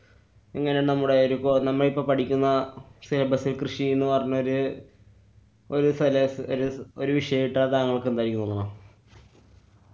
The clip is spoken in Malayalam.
ഇങ്ങനെ നമ്മുടെ ഒരു കോര്‍~നമ്മളിപ്പൊ പഠിക്കുന്ന കൃഷിന്നു പറയഞ്ഞൊര് ഒരു സല~ ഒരു വിഷയിട്ടാ താങ്കള്‍ക്കെന്തായിരിക്കും